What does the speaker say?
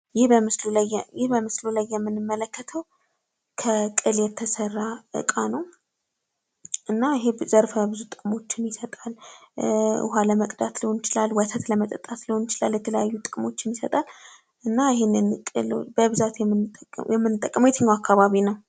ይህ በምስሉ ላይ የምንመለከተው ከቅል የተሰራ እቃ ነው ። እና ይህ ዘርፈ ብዙ ጥቅምችን ይሰጣል ። ውሃ ለመቅዳት ሊሆን ይችላል ወተት ለመጠጣት ሊሆን ይችላል ። የተለያዩ ጥቅሞችን ይሰጣል እና በብዛት የምንጠቀመው በየትኛው አካባቢ ነው?